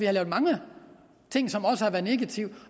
har lavet mange ting som også har været negative